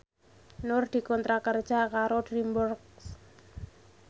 Nur dikontrak kerja karo DreamWorks